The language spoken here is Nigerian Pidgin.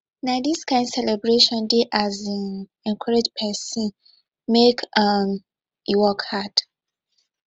na dis kain celebration dey um encourage pesin make um e work hard